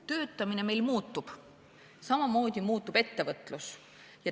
Töötamine muutub, samamoodi muutub ettevõtlus.